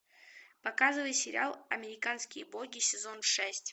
показывай сериал американские боги сезон шесть